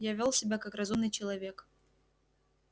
я вёл себя как разумный человек